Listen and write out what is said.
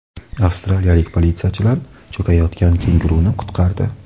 Avstraliyalik politsiyachilar cho‘kayotgan kenguruni qutqardi.